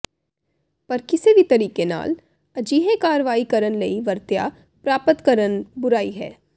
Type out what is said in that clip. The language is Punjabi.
ਪਰ ਕਿਸੇ ਵੀ ਤਰੀਕੇ ਨਾਲ ਅਜਿਹੇ ਕਾਰਵਾਈ ਕਰਨ ਲਈ ਵਰਤਿਆ ਪ੍ਰਾਪਤ ਕਰਨ ਬੁਰਾਈ ਹੈ